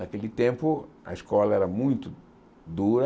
Naquele tempo, a escola era muito dura.